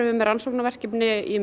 með rannsóknarverkefni